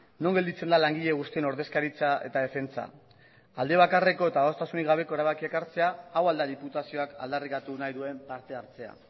non gelditzen da langile guztien ordezkaritza eta defentsa alde bakarreko eta adostasunik gabeko erabakiak hartzea hau al da diputazioak aldarrikatu nahi duen partehartzea